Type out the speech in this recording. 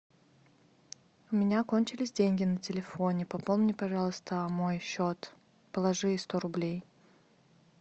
у меня кончились деньги на телефоне пополни пожалуйста мой счет положи сто рублей